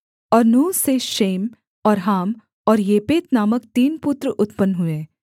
और नूह से शेम और हाम और येपेत नामक तीन पुत्र उत्पन्न हुए